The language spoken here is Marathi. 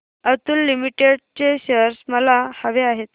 अतुल लिमिटेड चे शेअर्स मला हवे आहेत